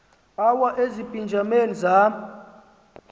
awa ezipijameni zam